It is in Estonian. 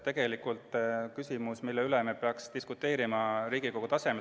Tegelikult on see selline küsimus, mille üle me peaksime diskuteerima Riigikogu tasemel.